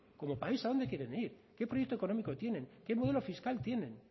cómo país a dónde quieren ir qué proyecto económico tienen qué modelo fiscal tienen